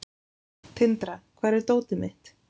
Tindra, hvar er dótið mitt?